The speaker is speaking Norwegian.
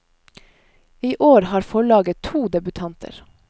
I år har forlaget to debutanter.